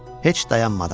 Heç dayanmadan.